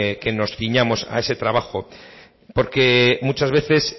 que nos ciñamos a ese trabajo porque muchas veces